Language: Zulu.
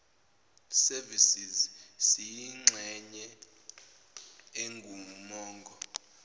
services siyingxenye engumongo